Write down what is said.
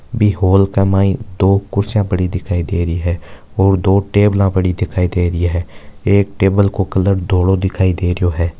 बि hall में दो कुर्सियां पड़ी दिखाय दे हरी है दो टेबल पड़ी दिखाय दे ही है एक टेबल का कलर धोलो दिखाय दे रहीयो है।